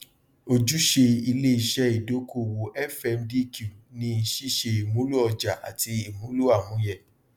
ojúsẹ iléiṣẹ ìdókòwò fmdq ni ṣíṣe ìmúlò ọjà àti ìmúlò amúyẹ